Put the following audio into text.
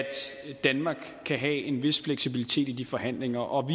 danmark kan have en vis fleksibilitet i de forhandlinger og